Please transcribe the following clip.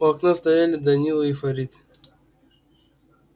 у окна стояли данила и фарид